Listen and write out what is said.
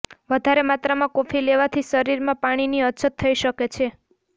વધારે માત્રામાં કોફી લેવાથી શરીરમાં પાણીની અછત થઈ શકે છે